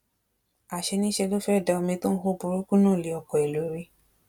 àṣé niṣẹ ló fẹẹ da omi tó hó burúkú náà lé ọkọ ẹ lórí